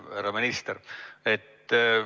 Härra minister!